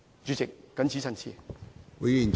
主席，我謹此陳辭。